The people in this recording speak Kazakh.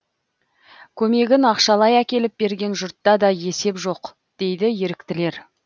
көмегін ақшалай әкеліп берген жұртта да есеп жоқ дейді еріктілер